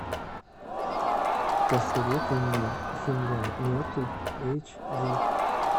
посоветуй мне земля мертвых эйч ди